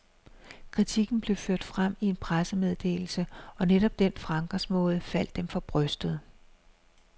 Kritikken blev ført frem i en pressemeddelse, og netop den fremgangsmåde faldt dem for brystet.